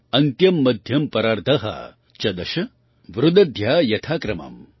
अन्त्यं मध्यं परार्ध च दश वृद्ध्या यथा क्रमम्